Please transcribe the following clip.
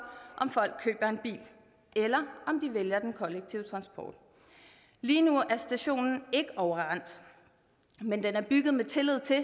om folk køber en bil eller om de vælger den kollektive transport lige nu er stationen ikke overrendt men den er bygget i tillid til at